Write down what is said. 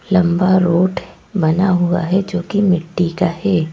लंबा रोट बना हुआ है जो कि मिट्टी का है।